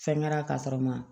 Fɛn kɛra ka sɔrɔ n ma